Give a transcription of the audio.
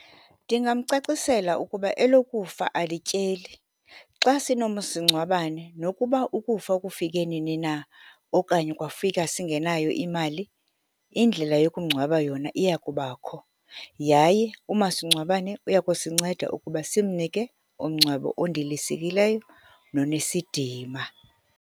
Ndingamcacisela ukuba elokufa alityeli. Xa sinomasingcwabane, nokuba ukufa kufike nini na, okanye kwafika singenayo imali, indlela yokumngcwaba yona iya kubakho, yaye umasingcwabane uya kusinceda ukuba simnike umngcwabo ondilisekileyo nonesidima.